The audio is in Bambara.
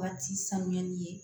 Waati sanuyali ye